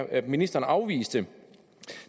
at ministeren afviste